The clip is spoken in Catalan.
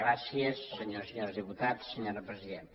gràcies senyores i senyors diputats senyora presidenta